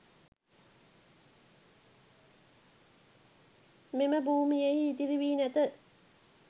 මෙම භූමියෙහි ඉතිරි වී නැත